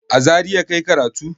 A Zariya ka yi karatu?